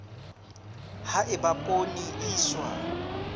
ha eba poone e iswa